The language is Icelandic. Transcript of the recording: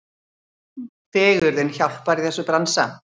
Fegurðin hjálpar í þessum bransa.